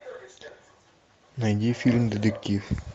найди фильм детектив